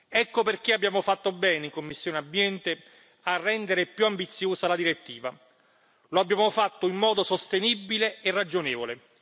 Ecco perché abbiamo fatto bene in commissione ENVI a rendere più ambiziosa la direttiva, lo abbiamo fatto in modo sostenibile e ragionevole.